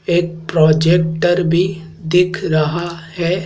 एक प्रोजेक्टर भी दिख रहा है।